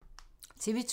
TV 2